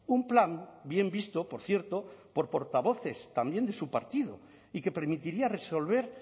un plan bien visto por cierto por portavoces también de su partido y que permitiría resolver